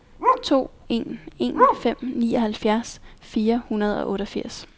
to en en fem nioghalvfjerds fire hundrede og otteogfirs